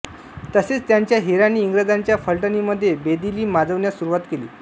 तसेच त्यांच्या हेरांनी इंग्रजांच्या पलटणींमध्ये बेदिली माजवण्यास सुरुवात केली